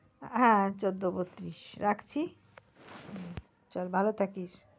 হ্যাঁ চোদ্দ বত্তিরিশ তাহলে রাখছি ভালো থাকিস।